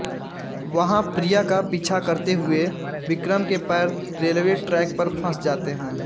वहाँ प्रिया का पीछा करते हुए विक्रम के पैर रेलवे ट्रैक पर फँस जाते हैं